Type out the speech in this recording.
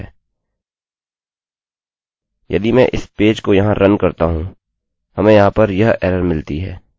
यदि मैं इस पेज को यहाँ रन करता हूँ हमें यहाँ पर यह एरर मिलती है